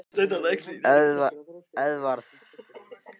Eðvarð, hvernig er veðurspáin?